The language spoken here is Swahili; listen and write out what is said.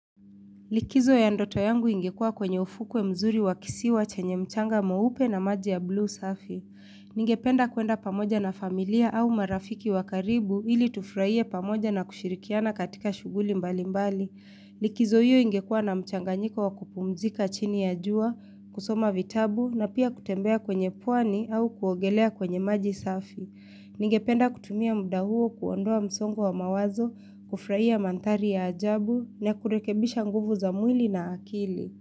Likizo ya ndoto yangu ingekua kwenye ufukwe mzuri wa kisiwa chenye mchanga mweupe na maji ya blue safi. Ningependa kuenda pamoja na familia au marafiki wa karibu ili tufraie pamoja na kushirikiana katika shughuli mbali mbali. Likizo hiyo ingekua na mchanganyiko wa kupumzika chini ya jua, kusoma vitabu na pia kutembea kwenye pwani au kuogelea kwenye maji safi. Ningependa kutumia mda huo kuondoa msongo wa mawazo, kufraia manthari ya ajabu, na kurekebisha nguvu za mwili na akili.